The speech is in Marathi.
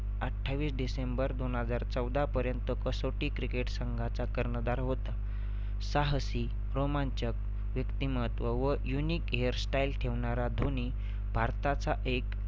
अठ्ठावीस डिसेंबर दोन हजार चौदापर्यंत कसौटी cricket संघाचा कर्णधार होता. साहसी, रोमांचक व्यक्तीमत्व व unique hairstyle ठेवणारा धोनी भारताचा एक